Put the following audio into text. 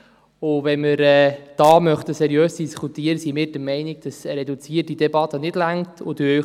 Sofern wir seriös darüber diskutieren wollen, sind wir der Meinung, dass eine reduzierte Debatte nicht ausreicht.